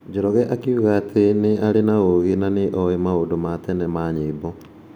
Njoroge akiuga atĩ , nĩ arĩ ũũgĩ na nĩ oĩ maũndũ ma tene ma nyĩmbo.